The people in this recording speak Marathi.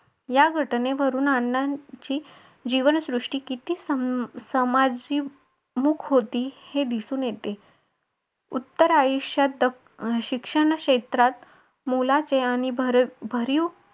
या घटनेवरून अण्णांची जीवनसृष्टी किती समाजीवमुख होती हे दिसून येते उत्तर आयुष्यात शिक्षण क्षेत्रात मुलाचे आणि भरीव